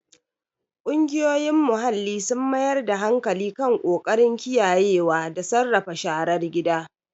Ƙungiyoyin muhalli sun mayar da hankali kan ƙoƙarin kiyayewa da sarrafa sharar gida.